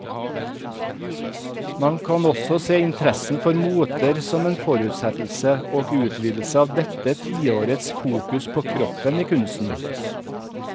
Man kan også se interessen for moter som en fortsettelse og utvidelse av dette tiårets fokus på kroppen i kunsten.